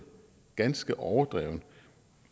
ganske overdreven